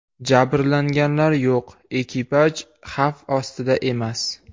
Jabrlanganlar yo‘q, ekipaj xavf ostida emas.